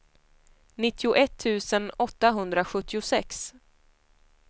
nittioett tusen åttahundrasjuttiosex